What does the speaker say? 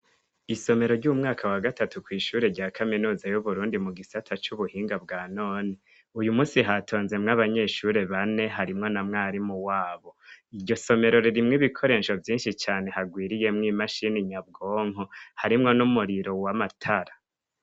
Isomero ry'umwaka wa gatatu kw'ishure rya kaminuza y'uburundi mu gisata c'ubuhinga bwa none uyu musi hatonzemwo abanyeshure bane harimwo na mwari mu wabo iryo somero ririmwo ibikoresho vyinshi cane hagwiriyemwo imashini nyabwonko harimwo n'umuriro wwa amatara.